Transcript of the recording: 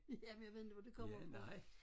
Jamen jeg ved inte hvor det kommer fra